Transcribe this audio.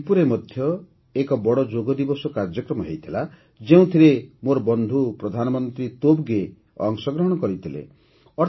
ଭୁଟାନର ଥିମ୍ପୁରେ ମଧ୍ୟ ଏକ ବଡ଼ ଯୋଗ ଦିବସ କାର୍ଯ୍ୟକ୍ରମ ହୋଇଥିଲା ଯେଉଁଥିରେ ମୋର ବନ୍ଧୁ ପ୍ରଧାନମନ୍ତ୍ରୀ ତୋବଗେ ମଧ୍ୟ ଅଂଶଗ୍ରହଣ କରିଥିଲେ